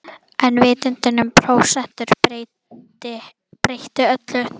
En vitundin um prósentur breytti öllu.